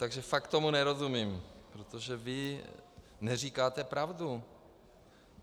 Takže fakt tomu nerozumím, protože vy neříkáte pravdu.